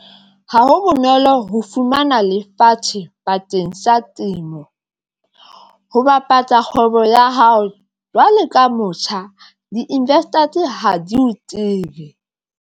Ha ho bonolo ho fumana lefatshe bakeng sa temo, ho bapatsa kgwebo ya hao jwalo ka motjha di-investors ha di o tsebe.